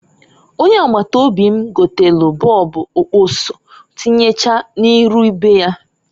Ọnye agbata obi m gotelu bọọbu okpuso tinyechaa n'iru be ya.